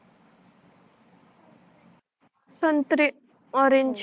संत्रे ओरेन्ज